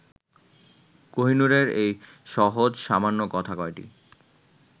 কোহিনূরের এই সহজ-সামান্য কথা কয়টি